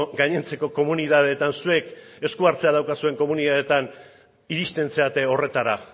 gainontzeko komunitateetan zuek eskuhartzea duzuen komunitateetan iristen zarete horretara